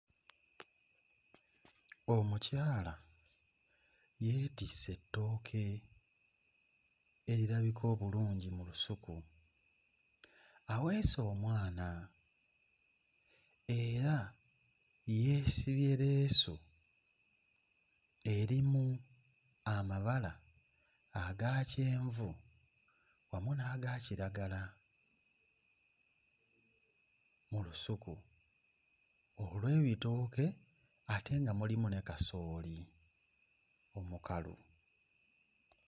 Omukyala yeetisse ettooke erirabika obulungi mu lusuku, aweese omwana era yeesibye leesu erimu amabala aga kyenvu wamu n'aga kiragala mu lusuku olw'ebitooke ate nga mulimu ne kasooli omukalu.